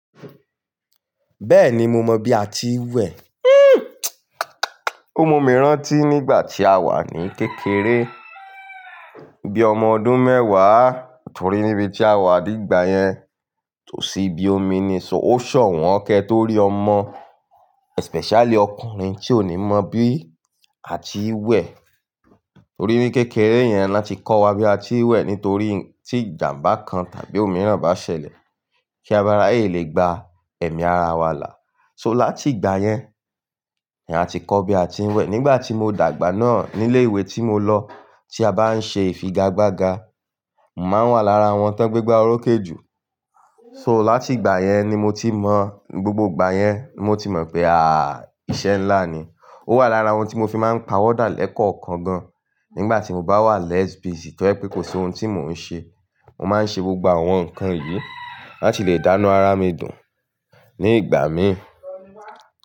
Bẹ́ẹ̀ni mo mọ bí a ti ń wẹ̀. Ó mú mi rántí nígbà tí a wà ní kékeré, bí ọmọ ọdún mẹ́wàá torí níbi tí a wà nígbà yẹn tò sí bí omi ni sọ, ó sòwọ́n kẹ́ torí ọmọ especially ọkùnrin tí ò ní mọ̀ bí a ti ń wẹ̀. Torí ní kékeré yẹn ni a ti kọ́ wa bí a ti ń wẹ̀ nítorí tí ìjàmbá kan tàbí òmíràn bá ṣẹlẹ̀ kí a máa bá láyè le gba ẹ̀mí ara wa là. So láti ìgbà yẹn ni a ti kọ́ bí a ti ń wẹ̀. Nígbà tí mo dàgbà náà nílé ìwé tí mo lọ tí a bá ń ṣe ìfigagbága, màá wà lára àwọn tó ń gbé gbá orókè jù. So láti ìgbà yẹn ni mo ti mọ̀, gbogbo ìgbà yẹn ni mo ti mọ̀ pé à íṣẹ́ ńlá ni. Ó wà lára àwọn tí mo fi máa ń pawọ́ dàálékọ̀ọ̀kan gan. Nígbà tí mo bá wà less busy to je wipé kò sí ohun tí mò ń ṣe, mò máa ń ṣe gbogbo àwọn nǹkan yìí láti lè dánn ara mi dùn ní ìgbà mí.